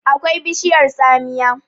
akwai bishiyar tsamiyar